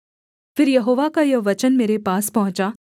फिर यहोवा का यह वचन मेरे पास पहुँचा